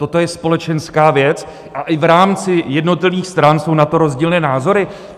Toto je společenská věc a i v rámci jednotlivých stran jsou na to rozdílné názory.